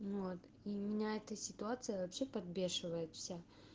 вот и меня эта ситуация вообще подбешивает вся